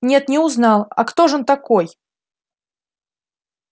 нет не узнал а кто ж он такой